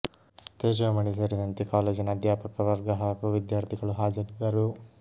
ತೇಜೋ ಮಣಿ ಸೇರಿದಂತೆ ಕಾಲೇಜಿನ ಅಧ್ಯಾಪಕ ವರ್ಗ ಹಾಗೂ ವಿದ್ಯಾರ್ಥಿಗಳು ಹಾಜರಿದ್ದರು